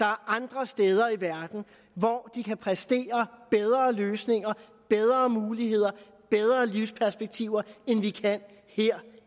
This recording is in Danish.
er andre steder i verden hvor de kan præstere bedre løsninger bedre muligheder og bedre livsperspektiver end vi kan her